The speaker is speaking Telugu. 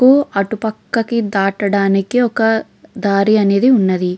అటు పక్కకి దాటాడానికి ఒక దారి అనేది ఉన్నది.